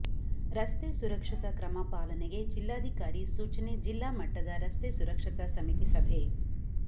ರಸ್ತೆ ಸುರಕ್ಷತಾ ಕ್ರಮ ಪಾಲನೆಗೆ ಜಿಲ್ಲಾಧಿಕಾರಿ ಸೂಚನೆಜಿಲ್ಲಾ ಮಟ್ಟದ ರಸ್ತೆ ಸುರಕ್ಷತಾ ಸಮಿತಿ ಸಭೆ